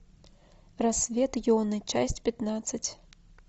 рассвет йоны часть пятнадцать